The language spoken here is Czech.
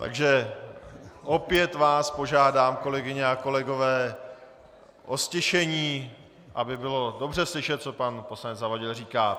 Takže opět vás požádám, kolegyně a kolegové, o stišení, aby bylo dobře slyšet, co pan poslanec Zavadil říká.